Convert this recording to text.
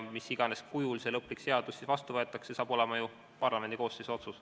Mis iganes kujul lõplik seadus vastu võetakse, see saab olema parlamendikoosseisu otsus.